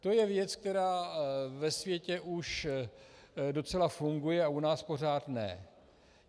To je věc, která ve světě už docela funguje a u nás pořád ne.